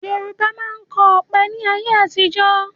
Yorùbá máa ń kọ ọ̀pẹ ni ayé àtijọ́